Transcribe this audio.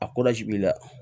A b'i la